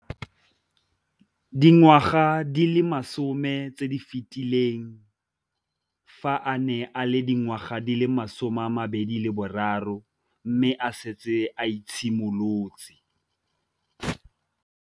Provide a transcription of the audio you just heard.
Dingwaga di le 10 tse di fetileng, fa a ne a le dingwaga di le 23 mme a setse a itshimoletse.